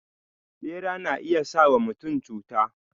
Bera na iya sa wa mutum cuta.